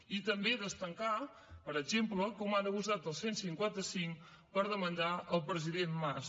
i també destacar per exemple com han abusat del cent i cinquanta cinc per demandar el president mas